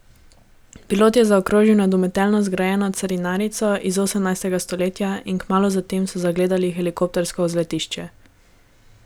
Pilot je zaokrožil nad umetelno zgrajeno carinarnico iz osemnajstega stoletja in kmalu zatem so zagledali helikoptersko vzletišče.